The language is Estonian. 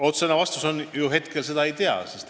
Otsene vastus on, et praegu me seda ei tea.